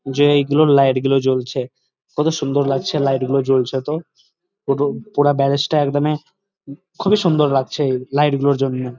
যে এইগুলো লাইট গুলো জ্বলছে কত সুন্দর লাগছে লাইট গুলো জ্বলছে তো পুর পুরো ব্যারেজ টা একদমই খুবই সুন্দর লাগছে লাইট গুলোর জন্য।